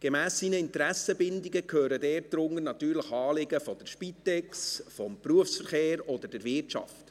Gemäss seinen Interessenbindungen gehören dazu natürlich Anliegen der Spitex, des Berufsverkehrs oder der Wirtschaft.